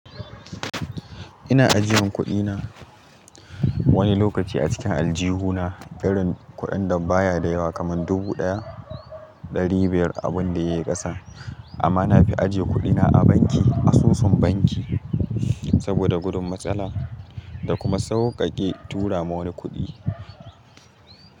Ina ajiyan kuɗina wani lokaci a cikin aljihuna, irin kuɗin da baya da yawa kamar dubu ɗaya, ɗari biyar abin da yayi ƙasa. Amma na fi ajiye kuɗina a banki, asusun banki saboda gudun matsala da kuma sauƙaƙe tura ma wani kuɗi.